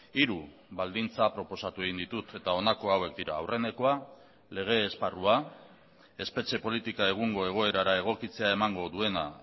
hiru baldintza proposatu egin ditut eta honako hauek dira aurrenekoa lege esparrua espetxe politika egungo egoerara egokitzea emango duena